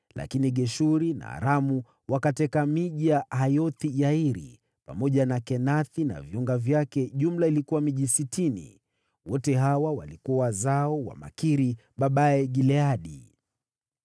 (Lakini Geshuri na Aramu wakateka miji ya Hawoth-Yairi, pamoja na Kenathi na viunga vyake; jumla ilikuwa miji sitini.) Wote hawa walikuwa wazao wa Makiri babaye Gileadi.